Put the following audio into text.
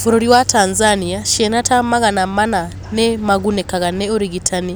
Bũrũri wa Tnzania ciana ta magana mana nĩ magunĩkaga nĩ ũrigitani